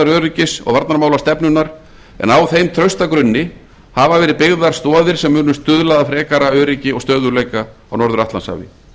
öryggis og varnarmálastefnunnar en á þeim trausta grunni hafa verið byggðar stoðir sem munu stuðla að frekara öryggi og stöðugleika á norður atlantshafi